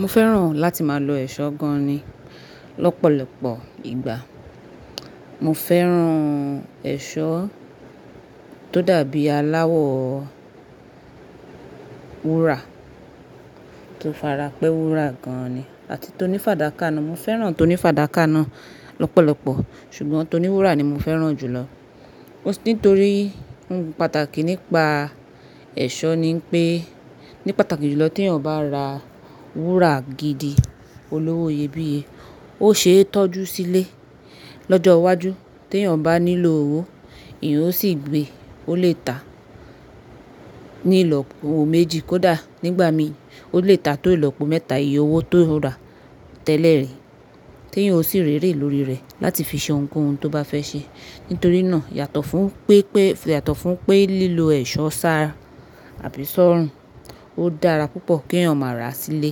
Mo fẹ́ràn láti máa lo ẹ̀ṣọ́ gan ni lọ́pọ̀lọpọ̀ ìgbà. Mo fẹ́ràn ẹ̀ṣọ́ tó dàbí aláwọ wúrà, tó fara pẹ́ wúrà gan ni àti tó ní fàdákà náà. Mo fẹ́ràn tó ní fàdákà náà lọ́pọ̀lọpọ̀ ṣùgbọ́n tó ní wúrà ni mo fẹ́ràn jù lọ. Nítorí ohun pàtàkì nípa ẹ̀ṣọ́ ni pé ní pàtàkì jùlọ tí èèyàn bá ra wúrà gidi olówó iyebíye, ó ṣe é tọ́jú sílé lọ́jọ́ iwájú tí èèyàn bá nílò owó, eeyan ó sì gbé. Ó lè ta ní ìlọ́po owó méjì kó dà nígbà mí, ó lè ta tó ìlọ́po mẹ́ta ìye owó tó rà tẹ́lẹ̀ ri tí èèyàn ó sì ri ere lórí rẹ̀ láti fi ṣe ohunkóhun tó bá fẹ́ ṣe. Nítorí náà yàtọ̀ fún pépé yàtọ̀ fún pé lílo ẹ̀ṣọ́ ṣára àbí sọ́rùn, ó dára púpọ̀ kí èèyàn máa rà á sílé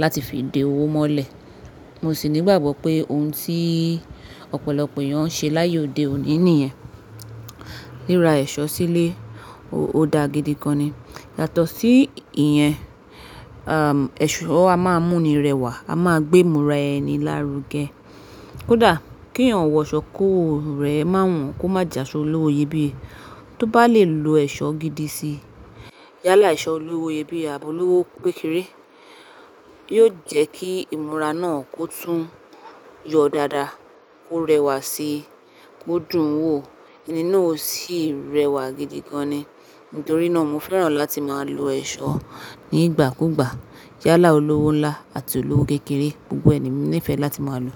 láti fi de owó mọ́lẹ̀. Mo sì ní ìgbàgbọ́ pé ohun tí ọ̀pọ̀lọpọ̀ èèyàn ń ṣe láyé òde òní nìyẹn. Rira ẹ̀ṣọ́ sílé ó daa gidi gan ni yàtọ̀ sí ìyẹn, ẹ̀ṣọ́ a máa mú ni rẹwà, a máa gbé ìmúra ẹni lárugẹ kódà kí èèyàn wọ aṣọ́ kówo rẹ má won kó má j'àsọ olówó iyebíye. Tó bá lè lo ẹ̀ṣọ́ gidi si, yálà ẹ̀ṣọ́ olówó iyebíye àb'olowó kékeré yóò jẹ́ kí ìmúra náà kó tún yọ dáadáa kó rẹwà síi kó dùn ún wò ẹni náà ó sì rẹwà gidi gan ni. Nítorí náà mo fẹ́ràn láti máa lo ẹ̀ṣọ́ nígbàkúgbà yálà olówó ńlá àti olówó kékeré, gbogbo ẹ ni emi nífẹ̀ẹ́ láti máa lo.